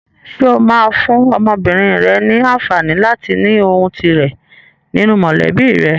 Ṣé o máa fún ọmọbìnrin rẹ ní àǹfààní láti ní ohùn tirẹ̀ nínú mọ̀lẹ́bí rẹ?